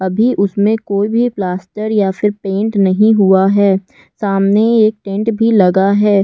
अभी उसमें कोई भी प्लास्टर या फ़िर पेंट नहीं हुआ है सामने एक टेंट भी लगा हैं।